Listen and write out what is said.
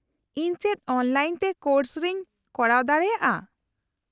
-ᱤᱧ ᱪᱮᱫ ᱚᱱᱞᱟᱭᱤᱱ ᱛᱮ ᱠᱳᱨᱥ ᱤᱧ ᱠᱚᱨᱟᱣ ᱫᱟᱲᱮᱭᱟᱜᱼᱟ ?